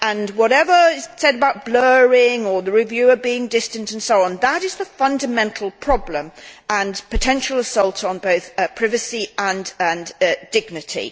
Whatever is said about blurring or the reviewer being distant and so on, that is the fundamental problem and potential assault on both privacy and dignity.